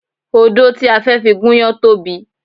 Odó ti a fẹ́ fi gúnyán tóbi